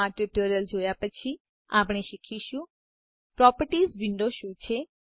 આ ટ્યુટોરીયલ જોયા પછી આપણે શીખીશું પ્રોપર્ટીઝ વિન્ડો શું છે